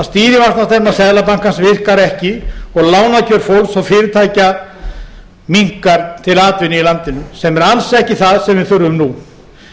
að stýrivaxtastefna seðlabankans virkar ekki og lánakjör fólks og fyrirtækja minnkar til atvinnu í landinu sem er alls ekki það sem við þurfum nú